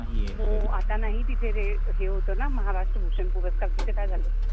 हो आता नाही तिथे ते हे होतं ना महाराष्ट्र भूषण पुरस्कार तिथे काय झालं